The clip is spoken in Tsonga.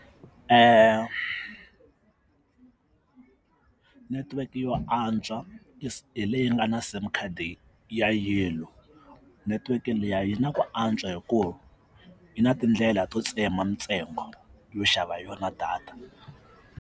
netiweke yo antswa leyi nga na sim card yellow network liya yi na ku antswa hi ku yi na tindlela to tsema ntsengo yo xava hi yona data.